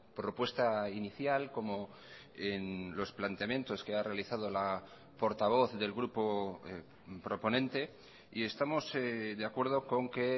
propuesta inicial como en los planteamientos que ha realizado la portavoz del grupo proponente y estamos de acuerdo con que